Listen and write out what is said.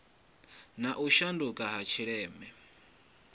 na u shanduka ha tshileme